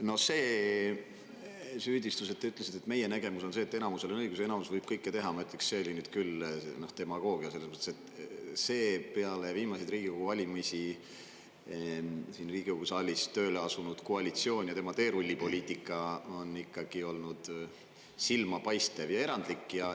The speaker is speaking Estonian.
No see süüdistus, mida te ütlesite, et meie nägemus on, et enamusel on õigus ja enamus võib kõike teha – ma ütleks, et see oli nüüd küll demagoogia, selles mõttes, et peale viimaseid Riigikogu valimisi siin Riigikogu saalis tööle asunud koalitsioon ja tema teerullipoliitika on olnud silmapaistev ja erandlik.